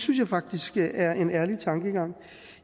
jeg faktisk er en ærlig tankegang